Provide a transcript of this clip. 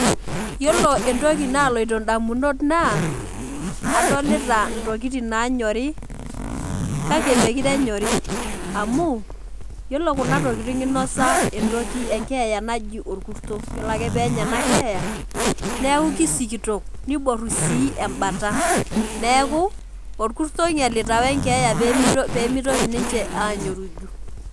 Yiolo entoki naloito ndamunot naa adolita ntokitin nanyori kake mekure enyori amu yiolo kuna tokitin , inosa entoki , enkeeya naji orkuro , yiolo ake penya enakeeya neeku kisikitok niboru sii embata , neeku orkurto oinyialita wenkeeya pemitoki ninche anyoriju.